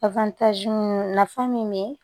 nafa min be yen